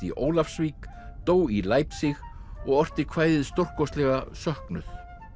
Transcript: í Ólafsvík dó í og orti kvæðið stórkostlega söknuð